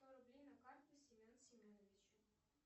сто рублей на карту семен семеновичу